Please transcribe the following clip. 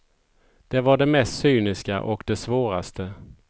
Det var det mest cyniska och det svåraste.